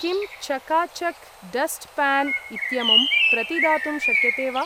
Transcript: किं चका चक् डस्ट् प्यान् इत्यमुम् प्रतिदातुं शक्यते वा?